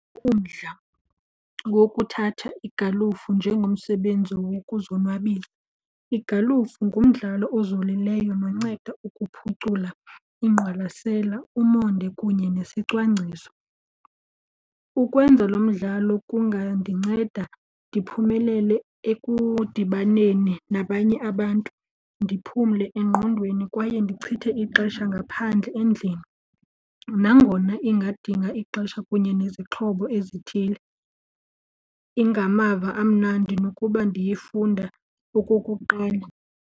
Umdla wokuthatha igalufu njengomsebenzi wokuzonwabisa. Igalufu ngumdlalo ozolileyo nonceda ukuphucula ingqwalasela, umonde kunye nesicwangciso. Ukwenza lo mdlalo kungandinceda ndiphumelele ekudibaneni nabanye abantu, ndiphumle engqondweni kwaye ndichithe ixesha ngaphandle endlini. Nangona ingadinga ixesha kunye nezixhobo ezithile, ingamava amnandi nokuba ndiyifunda okokuqala.